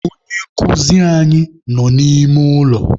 Onye nkụzi anyị nọ n'ime ụlọ.